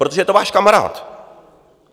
Protože je to váš kamarád.